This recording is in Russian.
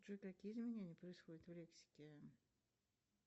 джой какие изменения происходят в лексике